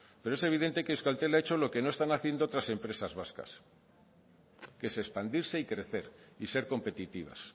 pero es evidente que euskaltel ha hecho lo que no están haciendo otras empresas vascas que es expandirse y crecer y ser competitivas